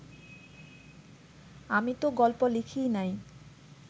আমি তো গল্প লিখিই নাই